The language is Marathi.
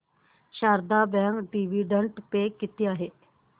शारदा बँक डिविडंड पे किती आहे